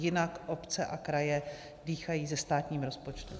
Jinak obce a kraje dýchají se státním rozpočtem.